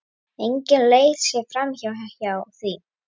Engin leið sé framhjá því.